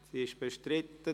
– Sie ist bestritten.